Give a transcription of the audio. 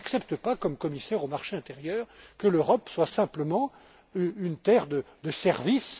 les autres. Je n'accepte pas, en tant que commissaire au marché intérieur, que l'Europe soit simplement une terre de